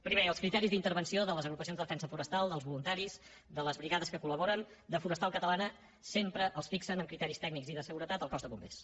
primer els criteris d’intervenció de les agrupacions de defensa forestal dels voluntaris de les brigades que col·laboren de forestal catalana sempre els fixa amb criteris tècnics i de seguretat el cos de bombers